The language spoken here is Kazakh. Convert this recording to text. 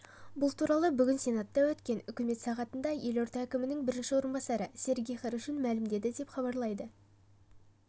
бұл туралы бүгін сенатта өткен үкімет сағатында елорда әкімінің бірінші орынбасары сергей хорошун мәлімдеді деп іабарлайды